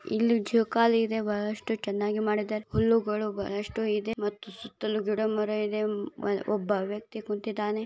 ಇಲ್ಲಿ ಜೋಕಾಲಿ ಇದೆ ಬಹಳಷ್ಟು ಚೆನ್ನಾಗಿ ಮಾಡಿದ್ದಾರೆ ಹುಲ್ಲುಗಳು ಬಹಳಷ್ಟು ಇದೆ ಮತ್ತು ಸುತ್ತಲೂ ಗಿಡ-ಮರ ಇದೆ ಒಬ್ಬ ವ್ಯಕ್ತಿ ಕುತ್ತಿದ್ದಾನೆ